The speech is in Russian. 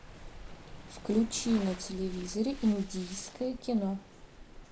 включи на телевизоре индийское кино